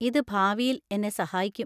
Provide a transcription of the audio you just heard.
ഇത് ഭാവിയിൽ എന്നെ സഹായിക്കും.